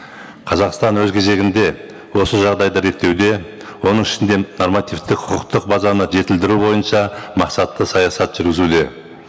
қазақстан өз кезегінде осы жағдайды реттеуде оның ішінде нормативтік құқықтық базаны жетілдіру бойынша мақсатты саясат жүргізуде